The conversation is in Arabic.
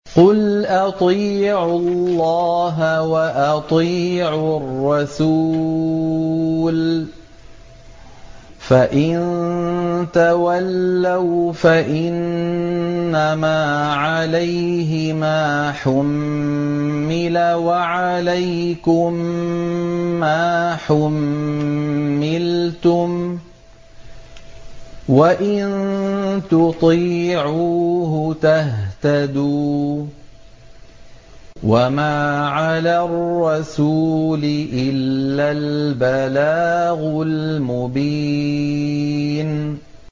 قُلْ أَطِيعُوا اللَّهَ وَأَطِيعُوا الرَّسُولَ ۖ فَإِن تَوَلَّوْا فَإِنَّمَا عَلَيْهِ مَا حُمِّلَ وَعَلَيْكُم مَّا حُمِّلْتُمْ ۖ وَإِن تُطِيعُوهُ تَهْتَدُوا ۚ وَمَا عَلَى الرَّسُولِ إِلَّا الْبَلَاغُ الْمُبِينُ